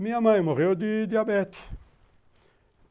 Minha mãe morreu de diabetes.